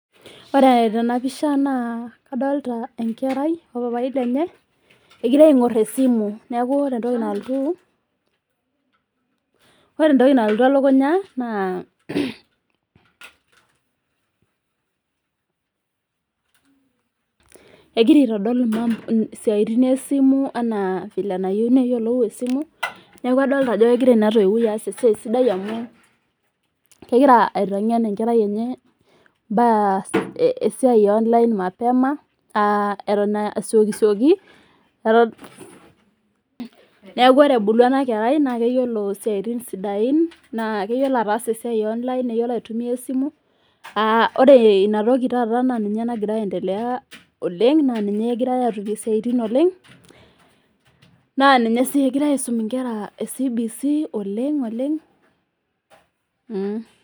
Ore tenapisha naa kadolita enkerai opapai lenye ,egira aingor esimu neeku ore entoki nalotu elukunya na egira aitodol ntokiting esimu enaa enayieu neyiolou esimu ,neeku adolita ajo kegira ana toiwoi aas esiai sidai amu kegira aitengen enkerai enye esiai eonline mapema ,neeku ore ebulu ena kerai naa keyiolo siatin sidain naa keyiolo ataasa esiai e online neyiolo aitumiyia esimu, ore ina toki naa ninye taata nagira aendelea oleng naa ninye engirae atumie siaitin oleng ,naa ninye sii engirae aisum nkera e CBC oleng .